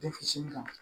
Den fitini kan